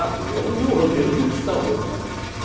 Ah, fizemos o roteiro turistão mesmo, né?